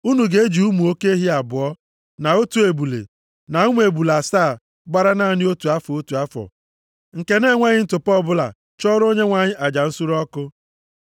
Unu ga-eji ụmụ oke ehi abụọ, na otu ebule, na ụmụ ebule asaa gbara naanị otu afọ, otu afọ, nke na-enweghị ntụpọ ọbụla chụọrọ Onyenwe anyị aja nsure ọkụ.